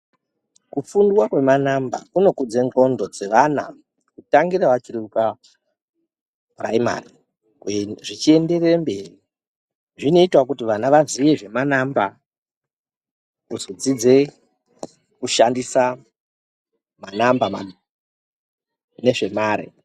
Kufunda kwemanamba kunokudza ngonhlo dzemwana kutangira vachiri kupiraimari zvichienderera mberi zvinoitawo kuti vana vazive zvemanamba kuzodzidza kushandisa manamba nezvemare.